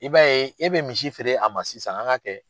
I b'a ye e bɛ misi feere a ma sisan an ka kɛ